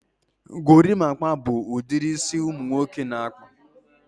gorimapa bụ ụdịrị isi ụmụ nwoke na-akpụ.